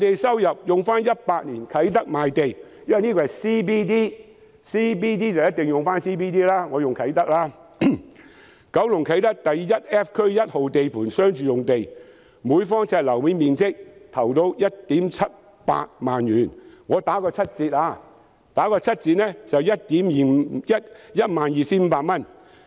根據2018年的啟德賣地——因為這是 CBD， 所以我便用啟德作為參考——九龍啟德第 1F 區1號地盤商住用地，每平方呎的樓面面積投標價為 17,800 元，我打個七折，折算後是 12,500 元。